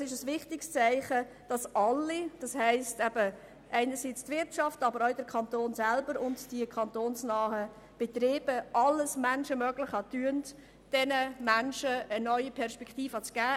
Es ist ein wichtiges Zeichen, dass sowohl die Wirtschaft als auch der Kanton selber und die kantonsnahen Betriebe alles Menschenmögliche dafür tun, diesen Menschen eine neue Perspektive zu geben.